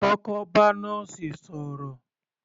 Kọ́kọ́ bá nọ́ọ̀sì sọ̀rọ̀